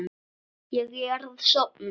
Ég er að sofna.